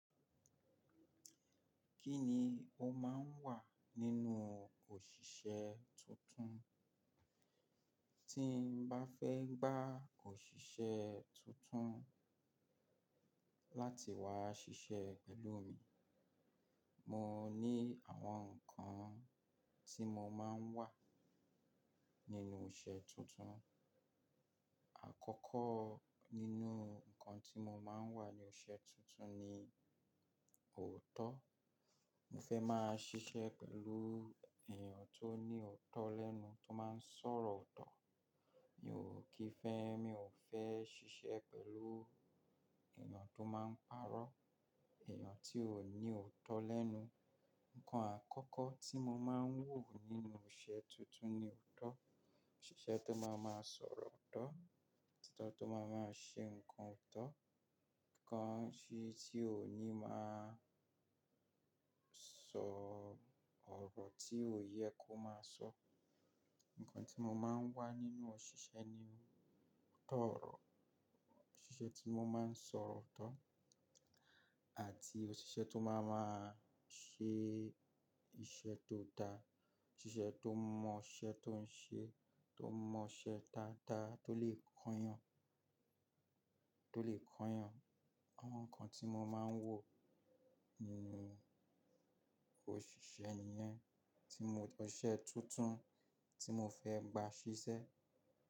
Kí ni o máa ń wà nínú òṣìṣẹ́ tuntun? Tí n bá fẹ́ gba òṣìṣẹ́ tuntun láti wá ṣiṣẹ́ pẹ̀lú mi, mo ní àwọn nǹkan tí mo máa ń wà nínú iṣẹ́ tuntun. Àkọ́kọ́ nínú nǹkan tí mo máa ń wà ní iṣẹ́ tuntun ni òótọ́. Mo fẹ́ máa ṣiṣẹ́ pẹ̀lú èèyàn tó ní òótọ́ lẹ́nu, tó máa ń sọ̀rọ̀ ọ̀tọ̀. Mi ò kí fẹ́, mi ò fẹ́ ṣiṣẹ́ pẹ̀lú èèyàn tó máa ń parọ́, èèyàn tí ò ní òótọ́ lẹ́nu. Nǹkan àkọ́kọ́ tí mo máa ń wò nínú iṣẹ́ tuntun ni òótọ́. Òṣìṣẹ́ tó máa máa sọ̀rọ̀ ọ̀tọ̀, títọ́ tó máa máa ṣe nǹkan ọ̀tọ̀, títọ́ tí ò ní máa sọ ọ̀rọ̀ tí ò yẹ kó máa sọ. Nǹkan tí mo máa ń wà nínú òṣìṣẹ́ ni ootọ̀rọ̀. Òṣìṣẹ́ tí mo máa ń sọ̀rọ̀ ọ̀tọ̀ àti òṣìṣẹ́ tó máa máa ṣe iṣẹ́ tó dáa. Òṣìṣẹ́ tó mọ iṣẹ́ tó ń ṣe, tó mọ iṣẹ́ dáadáa, tó lè kóyan, tó lè kóyan. Àwọn nǹkan tí mo máa ń wò nínú òṣìṣẹ́ nìyẹn, tí mo-- ọṣẹ tuntun tí mo fẹ́ gba ṣiṣẹ́.